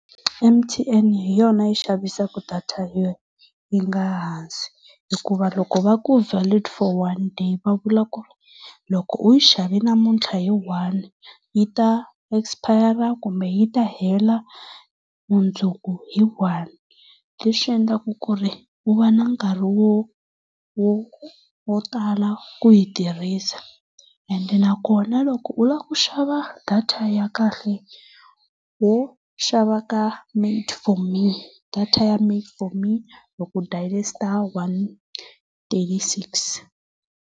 M_T_N hi yona yi xavisaka data yo yi nga hansi. Hikuva loko va ku valid for one day va vula ku ri loko u yi xave namuntlha hi one, yi ta espayara kumbe yi ta hela mundzuku hi one. leswi endlaka ku ri u va na nkarhi wo wo wo tala ku yi tirhisa. Ende nakona loko u lava ku xava data ya kahle ho xava ka made for me, data ya made for me loko u dayile star one thirty-six.